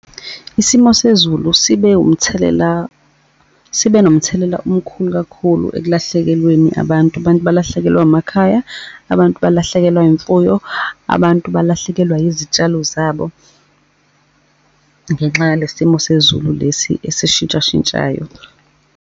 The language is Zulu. Isimo sezulu sibe umthelela, sibe nomthelela omkhulu kakhulu ekulahlekelweni abantu. Abantu balahlekelwa emakhaya, abantu balahlekelwa imfuyo, abantu balahlekelwa izitshalo zabo ngenxa yale simo sezulu lesi esishintshashintshayo.